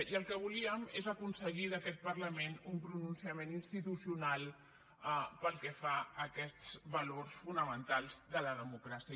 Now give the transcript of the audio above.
i el que volíem és aconseguir d’aquest parlament un pronunciament institucional pel que fa a aquests valors fonamentals de la democràcia